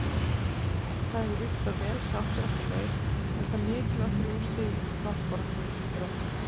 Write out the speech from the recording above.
Sagði Viktor vel sáttur eftir leik enda mikilvæg þrjú stig í toppbaráttunni fyrir Þrótt